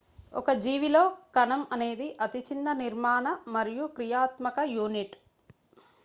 ఒక జీవిలో కణం అనేది అతి చిన్న నిర్మాణ మరియు క్రియాత్మక యూనిట్